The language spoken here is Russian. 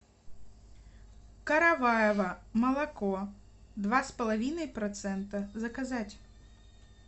караваево молоко два с половиной процента заказать